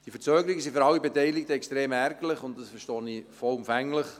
Die Verzögerungen sind für alle Beteiligten extrem ärgerlich, das verstehe ich vollumfänglich.